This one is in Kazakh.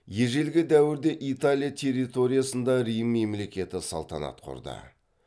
ежелгі дәуірде италия территориясында рим мемлекеті салтанат құрды